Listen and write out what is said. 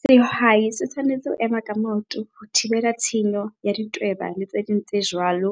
Sehwai se tshwanetse ho ema ka maoto ho thibela tshenyo ya ditweba le tse ding tse jwalo.